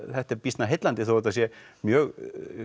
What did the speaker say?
þetta er býsna heillandi þó þetta sé mjög